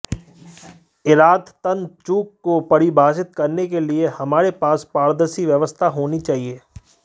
इरादतन चूक को पारिभाषित करने के लिए हमारे पास पारदर्शी व्यवस्था होनी चाहिए